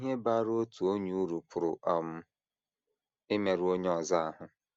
Ihe baara otu onye uru pụrụ um imerụ onye ọzọ ahụ́.